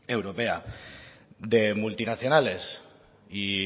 europea de multinacionales y